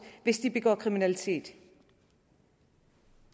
hvis de begår kriminalitet